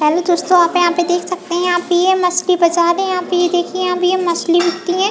Hello दोस्तों आप देख सकते है यहाँ पे ये मछली बाजार है यहाँ पे ये देखिये यहाँ पे मछली बिकती है।